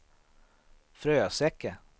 Fröseke